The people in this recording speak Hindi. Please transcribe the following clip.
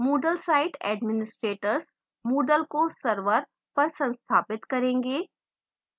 moodle site administrators moodle को server पर संस्थापित करेंगे